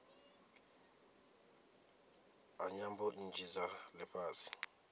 ha nyambo nnzhi dza lifhasi